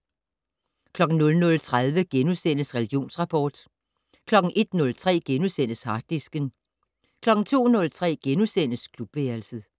00:30: Religionsrapport * 01:03: Harddisken * 02:03: Klubværelset *